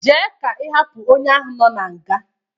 Jee ka ịhapụ onye ahụ nọ na nga!